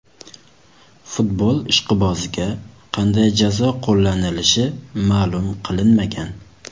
Futbol ishqiboziga qanday jazo qo‘llanilishi ma’lum qilinmagan.